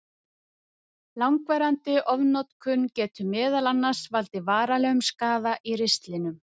Langvarandi ofnotkun getur meðal annars valdið varanlegum skaða í ristlinum.